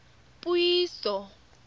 puiso